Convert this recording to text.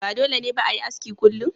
Ba dole ne ba a yi aski kullum.